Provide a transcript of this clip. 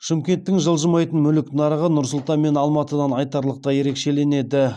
шымкенттің жылжымайтын мүлік нарығы нұр сұлтан мен алматыдан айтарлықтай ерекшеленеді